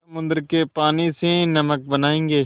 समुद्र के पानी से नमक बनायेंगे